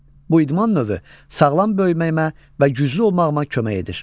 Bu idman növü sağlam böyüməyimə və güclü olmağıma kömək edir.